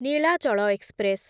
Nilachal express